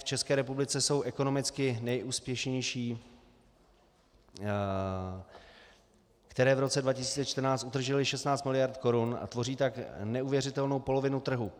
V České republice jsou ekonomicky nejúspěšnější, které v roce 2014 utržily 16 mld. korun a tvoří tak neuvěřitelnou polovinu trhu.